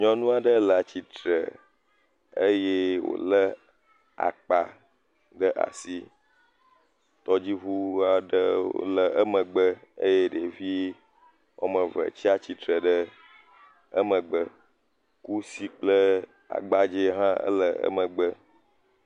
Nyɔnu aɖe le atsitre eye wòlé akpa ɖe asi, tɔdziŋu aɖewo le emegbe eye ɖevi woame eve tsi atsitre ɖe emegbe eye kusi kple agbadze hã le emegbe.